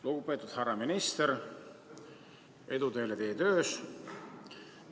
Lugupeetud härra minister, edu teile teie töös!